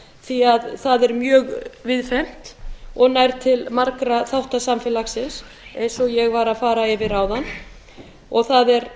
því það er mjög víðfeðmt og nær til fara þátta samfélagsins eins og ég var að fara yfir áðan og það er